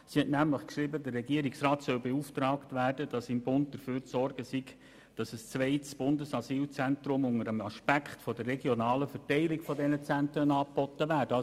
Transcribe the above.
Sie hat nämlich geschrieben, der Regierungsrat soll beauftragt werden, beim Bund dafür zu sorgen, dass ein zweites Bundesasylzentrum unter dem Aspekt der regionalen Verteilung dieser Zentren angeboten wird.